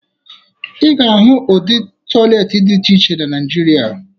Ị ga-ahụ ụdị tọyịleetị dị iche iche na Naịjirịa